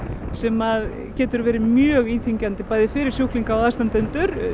sem getur verið mjög íþyngjandi fyrir sjúklinga og aðstandendur